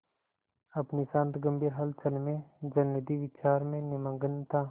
अपनी शांत गंभीर हलचल में जलनिधि विचार में निमग्न था